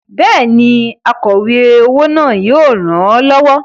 Bẹ́ẹ̀ni, akọ̀we owó náà yóò ràn ọ́ lọ́wọ́.